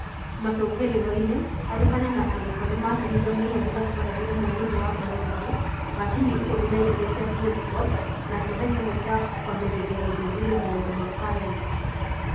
Macũngĩrĩro-inĩ, arutani na arutwo nĩ maakenire mũno rĩrĩa twaheire mwarimũ wa Biology macini ikũmi na igĩrĩ cia Foldscopes na kĩohe kĩmwe gĩa kwambĩrĩria gũthuthuria maũndũ ma sayansi.